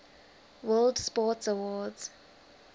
world sports awards